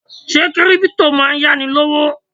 Ṣé Kírípútò máa ń yá ni lówó?